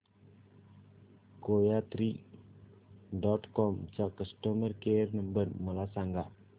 कोयात्री dot com चा customer care number मला सांगा